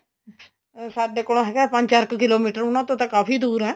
ਅਹ ਸਾਡੇ ਕੋਲੋ ਹੈਗਾ ਪੰਜ ਚਾਰ ਕ kilometer ਉਨਾ ਤੋਂ ਤਾਂ ਕਾਫੀ ਦੂਰ ਏ